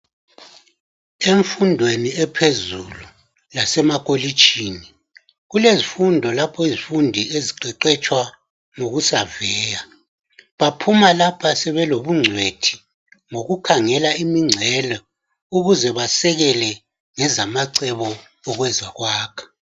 Emfundweni ephezulu yasemakolitshini, kulezifundo lapho izifundi eziqeqetshwa ngokusaveya. Baphuma lapho sebelobungcwethi ngokukhangela imingcelo ukuze basekele ngezamacebo okwezekwakha.